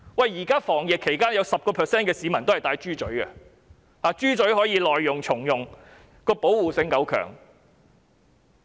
現時防疫期間有 10% 市民也是佩戴"豬嘴"的，因為較為耐用，可以重用，而且保護性較高。